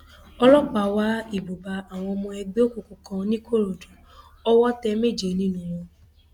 ọlọpàá wá ibùba àwọn ọmọ ẹgbẹ òkùnkùn kan nìkòròdú owó tẹ méje nínú wọn